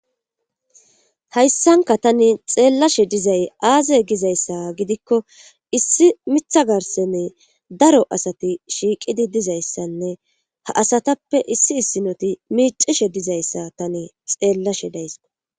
hayssanka tani xeellashe dizay aaze gizayssa gidikko issi miiththa garssene daro asati shiiqidi dizayssanne ha asatappe issi issinoti miicishe dizayssa tani xeellashe days